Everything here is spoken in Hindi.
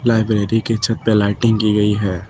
लाइब्रेरी के छत पे लाइटिंग की गई है।